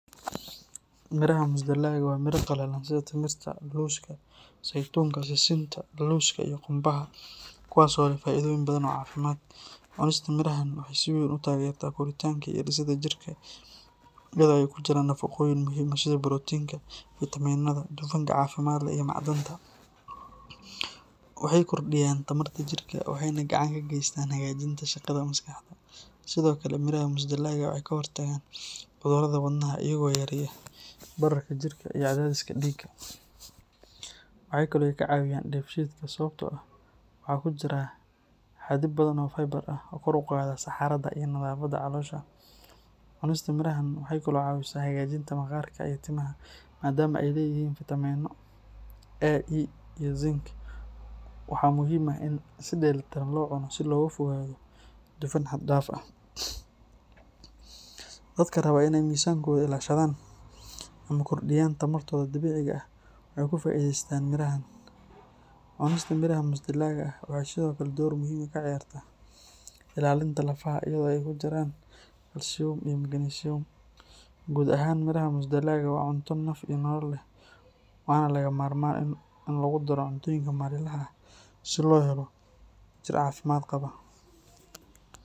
Miraha musdalaga waa miraha qallalan sida timirta, looska, saytuunka, sisinta, lawska, iyo qumbaha kuwaas oo leh faa’iidooyin badan oo caafimaad. Cunista mirahan waxay si weyn u taageertaa koritaanka iyo dhisidda jirka iyadoo ay ku jiraan nafaqooyin muhiim ah sida borotiinka, fiitamiinada, dufanka caafimaadka leh, iyo macdanta. Waxay kordhiyaan tamarta jirka, waxayna gacan ka geystaan hagaajinta shaqada maskaxda. Sidoo kale, miraha musdalaga waxay ka hortagaan cudurrada wadnaha iyagoo yareeya bararka jirka iyo cadaadiska dhiigga. Waxaa kale oo ay ka caawiyaan dheefshiidka sababtoo ah waxaa ku jira xaddi badan oo fiber ah oo kor u qaada saxarada iyo nadaafadda caloosha. Cunista mirahan waxay kaloo caawisaa hagaajinta maqaarka iyo timaha maadaama ay leeyihiin fiitamiino A, E iyo zinc. Waxaa muhiim ah in si dheellitiran loo cuno si looga fogaado dufan xad dhaaf ah. Dadka raba inay miisaankooda ilaashadaan ama kordhiyaan tamartooda dabiiciga ah waxay ku faa’iidaystaan mirahan. Cunista miraha musdalaga ah waxay sidoo kale door muhiim ah ka ciyaartaa ilaalinta lafaha iyadoo ay ku jiraan kalsiyum iyo magnesium. Guud ahaan, miraha musdalaga ah waa cunto naf iyo nolol leh, waana lagama maarmaan in lagu daro cuntooyinka maalinlaha ah si loo hello jir caafimaad qaba.